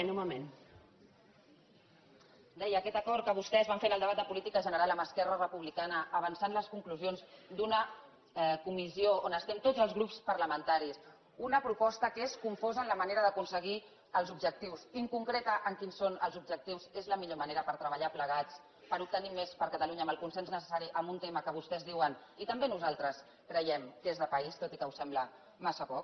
deia que aquest acord que vostès van fer en el debat de política general amb esquerra republicana avançant les conclusions d’una comissió on hi som tots els grups parlamentaris una proposta que és confosa en la manera d’aconseguir els objectius inconcreta en quins són els objectius és la millor manera per treballar plegats per obtenir més per a catalunya amb el consens necessari en un tema que vostès diuen i també nosaltres ho creiem que és de país tot i que ho sembla massa poc gràcies